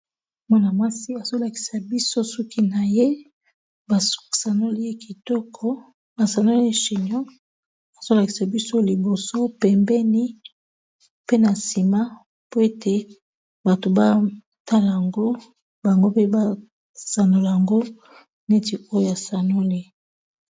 Mwana-mwasi azolakisa biso suki na ye ba sanoli ye kitoko ba sanoli chinon azolakisa biso liboso pembeni pe na nsima po ete bato batala ngo bango mpe basanola yango neti oya asanoli.